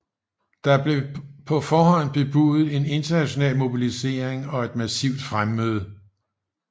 Der blev på forhånd bebudet en international mobilisering og et massivt fremmøde